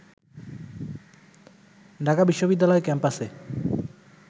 ঢাকা বিশ্ববিদ্যালয় ক্যাম্পাসে